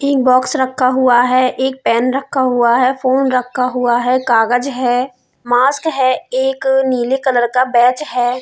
एक बॉक्स रखा हुआ है एक पेन रखा हुआ है फ़ोन रखा हुआ कागज़ है मास्क है एक नीले कलर का बैच है।